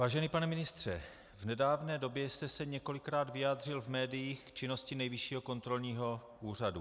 Vážený pane ministře, v nedávné době jste se několikrát vyjádřil v médiích k činnosti Nejvyššího kontrolního úřadu.